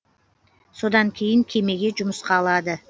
содан кейін кемеге жұмысқа алады